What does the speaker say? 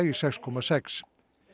í sex komma sex